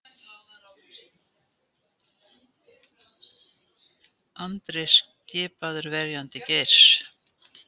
Andri skipaður verjandi Geirs